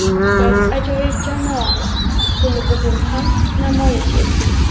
Biz ajoyib jamoamiz, buni bugun ham namoyish etdik.